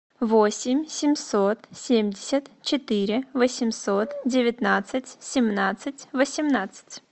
восемь семьсот семьдесят четыре восемьсот девятнадцать семнадцать восемнадцать